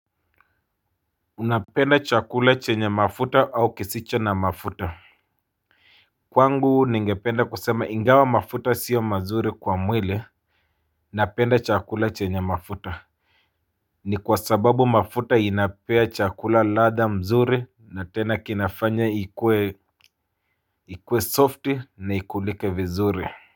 Napenda chakula chenye mafuta au kisicho na mafuta. Kwangu ningependa kusema ingawa mafuta sio mazuri kwa mwili napenda chakula chenye mafuta. Ni kwa sababu mafuta inapea chakula ladha mzuri na tena kinafanya ikue ikue soft na ikulike vizuri. Kwa hivyo.